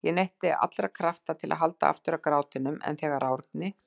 Ég neytti allra krafta til að halda aftur af grátinum en þegar Árni